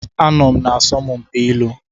Anọ m na asọmpi ilu.